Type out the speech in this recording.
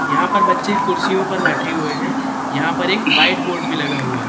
यहां पर बच्चे कुर्सियों पर बैठे हुए हैं यहां पर एक व्हाइट बोर्ड भी लगा हुआ है।